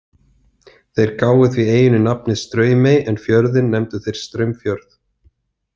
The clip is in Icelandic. Þeir gáfu því eyjunni nafnið Straumey en fjörðinn nefndu þeir Straumfjörð.